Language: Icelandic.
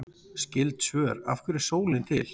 Skyld svör: Af hverju er sólin til?